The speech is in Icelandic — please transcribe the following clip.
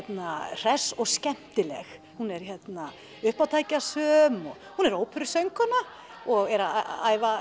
hress og skemmtileg hún er uppátækjasöm hún er óperusöngkona og er að æfa